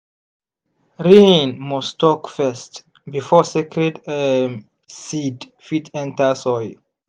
rain must talk first before sacred um seed fit enter soil.